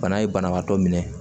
Bana ye banabaatɔ minɛ